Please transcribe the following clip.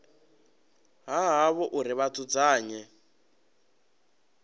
ha havho uri vha dzudzanye